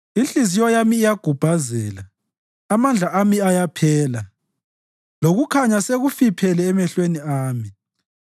Inhliziyo yami iyagubhazela, amandla ami ayaphela; lokukhanya sekufiphele emehlweni ami.